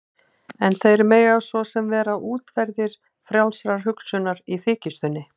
En þeir mega svo sem vera útverðir frjálsrar hugsunar- í þykjustunni.